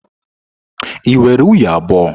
Ị nwere nwunye abụọ?